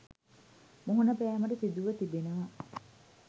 මුහුණ පෑමට සිදුව තිබෙනවා.